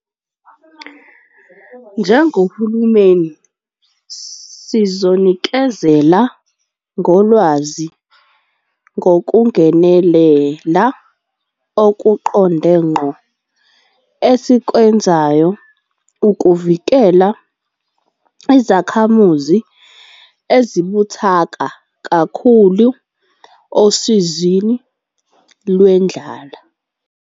Njengohulumeni sizonikezela ngolwazi ngokungenelela okuqonde ngqo esikwenzayo ukuvikela izakhamuzi ezibuthaka kakhulu osizini lwendlala.